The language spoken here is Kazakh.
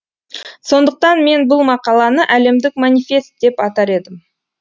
сондықтан мен бұл мақаланы әлемдік манифест деп атар едім